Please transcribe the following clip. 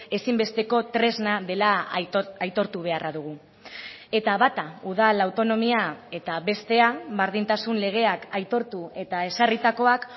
ezinbesteko tresna dela aitortu beharra dugu eta bata udal autonomia eta bestea berdintasun legeak aitortu eta ezarritakoak